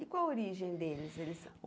E qual a origem deles? Eles